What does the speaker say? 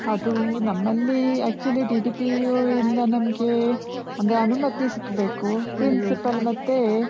ಅದೂ ನಮಲ್ಲಿ actually DDPEO ಇಂದ ನಮ್ಗೆ ಅಂದ್ರೆ ಅನುಮತಿ ಸಿಕ್ಬೇಕು. principal ಮತ್ತೆ.